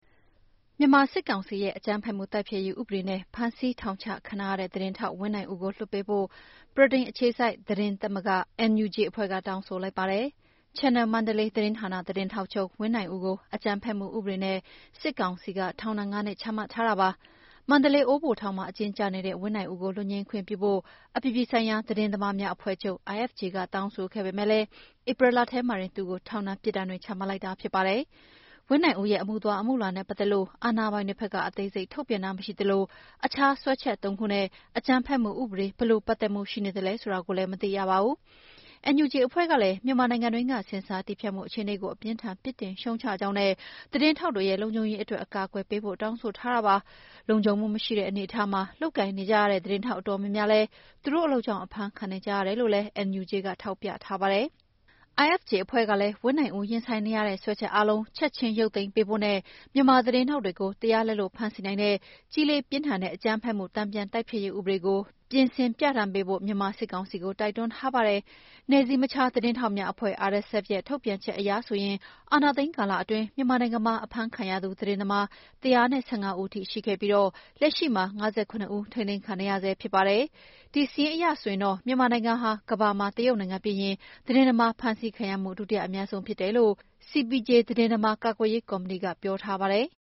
မြန်မာစစ်ကောင်စီရဲ့ အကြမ်းဖက်မှုတိုက်ဖျက်ရေးဥပဒေနဲ့ ဖမ်းဆီးထောင်ချခံထားရတဲ့ သတင်းထောက်ဝင်းနိုင်ဦးကို လွှတ်ပေးဖို့ ဗြိတိန်အခြေစိုက် သတင်းသမဂ္ဂ NUJ အဖွဲ့က တောင်းဆိုလိုက်ပါတယ်။ Channel Mandalay သတင်းဌာနသတင်းထောက်ချုပ် ဝင်းနိုင်ဦးကို အကြမ်းဖက်မှုဥပဒေနဲ့ စစ်ကောင်စီက ထောင်ဒဏ် ၅ နှစ်ချမှတ်ထားတာပါ။ မန္တလေး အိုးဘိုထောင်မှာ အကျဉ်းကျနေတဲ့ ဝင်းနိုင်ဦးကို လွတ်ငြိမ်းခွင့်ပြုဖို့ အပြည်ပြည်ဆိုင်ရာ သတင်းသမားများအဖွဲ့ချုပ် IFJ က တောင်းဆိုခဲ့ပေမယ့်လည်း ဧပြီလထဲမှာပဲ သူ့ကို ထောင်ဒဏ်ပြစ်ဒဏ်တွေချမှတ်လိုက်တာဖြစ်ပါတယ်။ ဝင်းနိုင်ဦးရဲ့အမှုသွားအမှုလာနဲ့ပတ်သက်လို့ အာဏာပိုင်တွေဘက်က အသေးစိတ်ထုတ်ပြန်တာမရှိသလို အခြားစွဲချက် ၃ ခုနဲ့ အကြမ်းဖက်မှုဥပဒေ ဘယ်လိုပတ်သက်မှုရှိနေသလဲဆိုတာကိုလည်း မသိရပါဘူး။ NUJ အဖွဲ့ကလည်း မြန်မာနိုင်ငံတွင်းက ဆင်ဆာတည်းဖြတ်မှုအခြေအနေကို အပြင်းအထန်ပြစ်တင်ရှုတ်ချကြောင်းနဲ့ သတင်းထောက်တွေရဲ့ လုံခြုံရေးအတွက် အကာအကွယ်ပေးဖို့ တောင်းဆိုထားတာပါ။ လုံခြုံမှုမရှိတဲ့ အနေအထားမှာလုပ်ကိုင်နေကြရတဲ့ သတင်းထောက်အတော်များများလည်း သူတို့အလုပ်ကြောင့် အဖမ်းခံနေကြရတယ်လို့လည်း NUJ ကထောက်ပြထားပါတယ်။ IFJ အဖွဲ့ကလည်း ဝင်းနိုင်ဦးရင်ဆိုင်နေရတဲ့ စွဲချက်အားလုံး ချက်ချင်း ရုပ်သိမ်းပေးဖို့နဲ့ မြန်မာသတင်းထောက်တွေကို တရားလက်လွတ်ဖမ်းဆီးနိုင်တဲ့ ကြီးလေးပြင်းထန်တဲ့ အကြမ်းဖက်မှုတန်ပြန်တိုက်ဖျက်ရေးဥပဒေကို ပြင်ဆင်ပြဌာန်းပေးဖို့ မြန်မာစစ်ကောင်စီကို တိုက်တွန်းထားပါတယ်။ နယ်စည်းမခြားသတင်းထောက်များအဖွဲ့ RSF ရဲ့ ထုတ်ပြန်ချက်အရဆိုရင် အာဏာသိမ်းကာလအတွင်း မြန်မာနိုင်ငံမှာ ဖမ်းဆီးခံရသူ သတင်းသမား ၁၁၅ ဦးအထိရှိခဲ့ပြီး လက်ရှိမှာ ၅၇ ဦး ထိမ်းသိမ်းခံနေရဆဲဖြစ်ပါတယ်။ ဒီစာရင်းအရဆိုရင် မြန်မာနိုင်ငံမှာ ကမ္ဘာမှာ တရုတ်နိုင်ငံပြီးရင် သတင်းသမားဖမ်းဆီးခံရမှု ဒုတိယအများဆုံးဖြစ်တယ်လို့ CPJ သတင်းသမားကာကွယ်ရေးကော်မတီက ပြောထားပါတယ်။